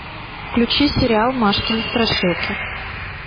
включи сериал машкины страшилки